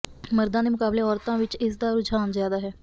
ਮਰਦਾਂ ਦੇ ਮੁਕਾਬਲੇ ਔਰਤਾਂ ਵਿੱਚ ਇਸ ਦਾ ਰੁਝਾਨ ਜ਼ਿਆਦਾ ਹੈ